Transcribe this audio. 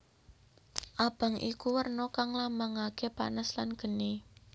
Abang iku werna kang nglambangaké panas lan geni